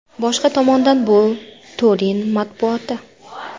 Boshqa tomondan bu Turin matbuoti.